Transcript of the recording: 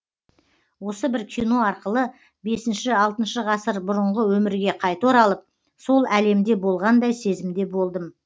осы бір кино арқылы бесінші алтыншы ғасыр бұрынғы өмірге қайта оралып сол әлемде болғандай сезімде болдым